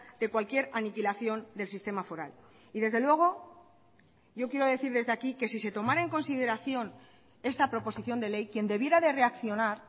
de cualquier aniquilación del sistema foral y desde luego yo quiero decir desde aquí que si se tomara en consideración esta proposición de ley quien debiera de reaccionar